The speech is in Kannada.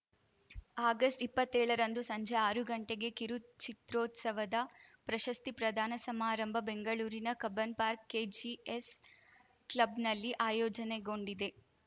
ಆಗಸ್ಟ್ ಇಪ್ಪತ್ತೇಳರಂದು ಸಂಜೆ ಆರು ಗಂಟೆಗೆ ಕಿರುಚಿತ್ರೋತ್ಸವದ ಪ್ರಶಸ್ತಿ ಪ್ರದಾನ ಸಮಾರಂಭ ಬೆಂಗಳೂರಿನ ಕಬ್ಬನ್‌ ಪಾರ್ಕ್ ಕೆಜಿಎಸ್‌ ಕ್ಲಬ್‌ನಲ್ಲಿ ಆಯೋಜನೆಗೊಂಡಿದೆ